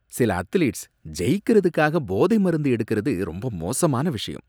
சில அத்லீட்ஸ் ஜெயிக்கிறதுக்காக போதை மருந்து எடுக்கிறது ரொம்ப மோசமான விஷயம்